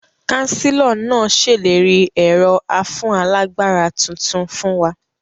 Kánsílọ̀ náà sèlérí ẹ̀rọ afúnálagbára tuntun fún wa